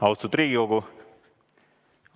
Austatud Riigikogu!